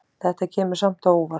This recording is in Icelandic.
Þetta kemur samt á óvart.